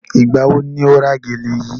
Ìgbà wo ni o ra gèlè yíí?